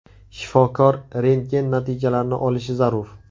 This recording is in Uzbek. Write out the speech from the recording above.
Shifokor rentgen natijalarini olishi zarur.